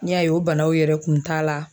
N'i y'a ye o banaw yɛrɛ kun t'a la